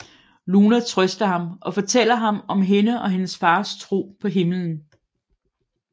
Luna trøster ham og fortæller ham om hende og hendes fars tro på himmelen